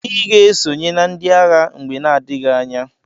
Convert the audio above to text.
Iga esonye na ndi agha mgbe na adighi anya!!